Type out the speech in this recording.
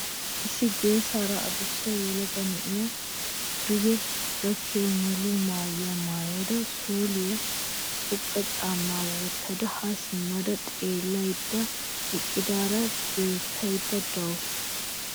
Issi geesa adussa yelaga na'iya duge gakkiya muluu maayuwa maayada sooliya xoqqa caammaa wottada haa simma xeellaydda eqqidaara beettaydda de'awusu.